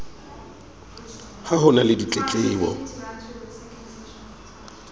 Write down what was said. ha ho na le ditletlebo